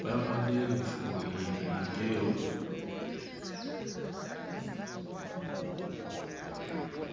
bambadde yinifoomu njeru.